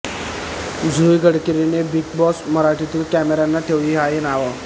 जुई गडकरीने Bigg Boss मराठीतील कॅमेऱ्यांना ठेवली ही नावे